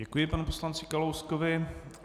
Děkuji panu poslanci Kalouskovi.